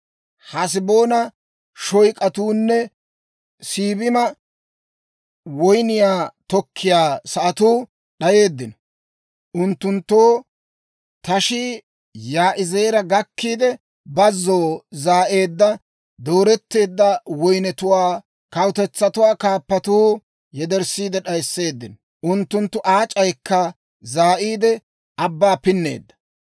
Haseboona shooyk'atuunne Siibima woyniyaa tokkiyaa sa'atuu d'ayeeddino; unttunttoo tashii Yaa'izeera gakkiide, bazzoo zaa'eedda dooretteedda woynnetuwaa kawutetsatuwaa kaappatuu yederssiide d'ayisseeddino; unttunttu aac'aykka zaa'iide, abbaa pinneedda.